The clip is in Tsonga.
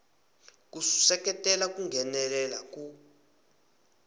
ku seketela ku nghenelela ku